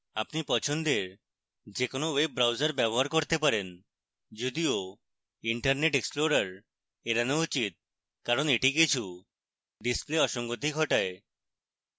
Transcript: আপনি পছন্দের যে কোনো web browser ব্যবহার করতে পারেন